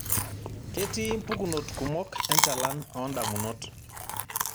Ketii mpukunot kumok enchalan oondamunot.